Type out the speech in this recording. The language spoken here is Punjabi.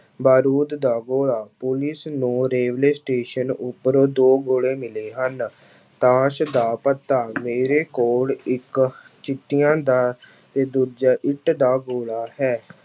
ਬਾਰੂਦ ਦਾ ਗੋਲਾ, ਪੁਲਿਸ ਨੂੰ ਰੇਲਵੇ ਸਟੇਸ਼ਨ ਉੱਪਰ ਦੋ ਗੋਲੇ ਮਿਲੇ ਹਨ, ਤਾਸ਼ ਦਾ ਪੱਤਾ ਮੇਰੇ ਕੋਲ ਇੱਕ ਚਿੱਟੀਆਂ ਦਾ ਤੇ ਦੂਜਾ ਇੱਟ ਦਾ ਗੋਲਾ ਹੈ।